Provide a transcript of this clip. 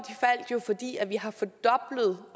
de fordi vi har fordoblet